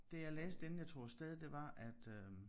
Det jeg læste inden jeg tog afsted det var at øh